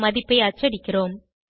மதிப்பை அச்சடிக்கிறோம்